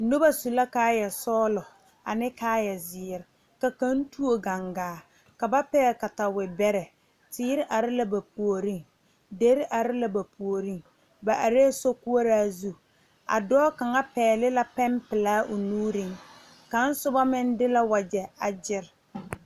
Noba su la kaaya sɔglɔ ne kaaya ziiri ka kaŋ tuo gangaa ka pegle katawiire bɛre teere are la ba puori diire are la ba puori ba are sokoɔraa zu a dɔɔ kaŋa pegle la peŋ pelaa o nuure kaŋa soba meŋ de la wagye a gere.